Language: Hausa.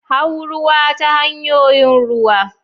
Hau ruwa ta hanyoyin ruwa.